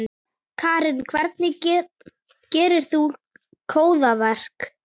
Karen: Hvernig gerðir þú góðverk?